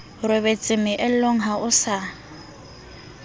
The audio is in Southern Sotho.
robetse mealong ha o sa